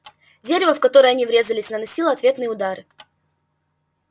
дерево в которое они врезались наносило ответные удары